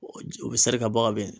U bɛ seri ka bɔ ka ben.